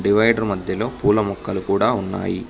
Divider మద్యలో పూల మొక్కలు కూడా ఉన్నాయి.